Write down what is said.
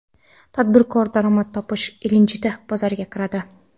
Tadbirkor daromad topish ilinjida bozorga kiradi.